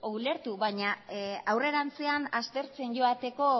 ulertu baina aurrerantzean aspertzen joateko